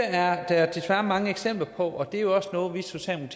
er der desværre mange eksempler på og det er jo også noget vi